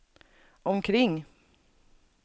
omkring